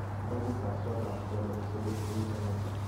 barakut ab kot ab ndonyo kobut ing Jakarta.